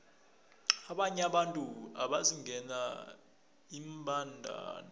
abanye abantu bazingela iimbandana